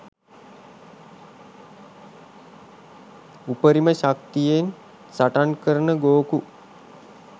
උපරිම ශක්තියෙන් සටන්කරන ගෝකු